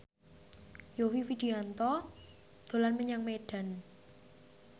Yovie Widianto dolan menyang Medan